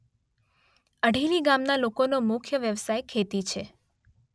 અઢેલી ગામના લોકોનો મુખ્ય વ્યવસાય ખેતી છે.